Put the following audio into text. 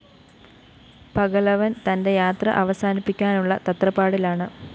പകലവന്‍ തന്റെ യാത്ര അവസാനിപ്പിക്കാനുള്ള തത്രപ്പാടിലാണ്